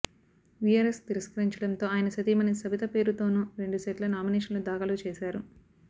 VRS తిరస్కరించడంతో ఆయన సతీమణి సబిత పేరుతోను రెండు సెట్ల నామినేషన్లు దాఖలు చేశారు